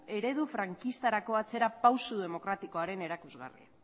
eredu frankistarako atzerapauso demokratikoaren erakusgarri